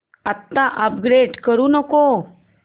आता अपग्रेड करू नको